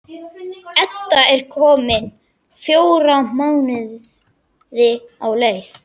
Edda er komin fjóra mánuði á leið.